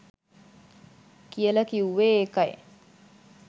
කියල කිව්වෙ ඒකයි.